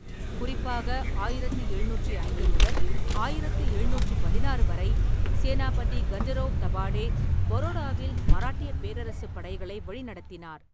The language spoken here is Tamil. குறிப்பாக, ஆயிரத்தி எழுநூற்றி ஐந்து முதல் ஆயிரத்தி எழுநூற்றிப் பதினாறு வரை, சேனாபதி கண்டேராவ் தபாடே பரோடாவில் மராட்டியப் பேரரசுப் படைகளை வழிநடத்தினார்.